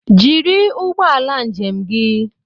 Jiri ụgbọala njem gi